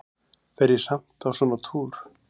Fer ég samt á svona túr?